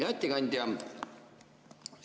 Hea ettekandja!